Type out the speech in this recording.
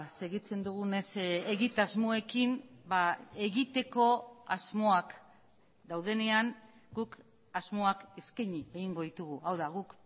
segitzen dugunez egitasmoekin egiteko asmoak daudenean guk asmoak eskaini egingo ditugu hau da guk